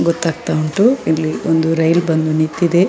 ಗೊತ್ತಾಗ್ತ ಉಂಟು ಇಲ್ಲಿ ಒಂದು ರೈಲು ಬಂದು ನಿಂತಿದೆ .